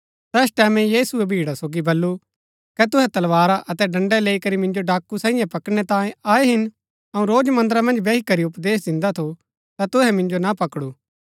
तैस टैमैं यीशुऐ भीड़ा सोगी बल्लू कै तुहै तलवारा अतै डंडै लैई करी मिन्जो डाकू साईयें पकड़णै तांयें आये हिन अऊँ रोज मन्दरा मन्ज बैही करी उपदेश दिन्दा थु ता तुहै मिन्जो ना पकडु